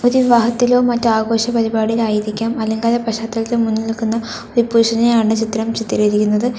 വിവാഹത്തിലോ മറ്റ് ആഘോഷ പരിപാടിയിലായിരിക്കാം അലങ്കാര പശ്ചാത്തലത്തിൽ മുന്നിൽ നിൽക്കുന്ന ഒരു പുരുഷനെയാണ് ചിത്രം ചിത്രീകരിക്കുന്നത്.